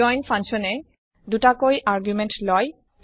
join function এ ২টা কৈ আৰ্গুমেণ্ট লয়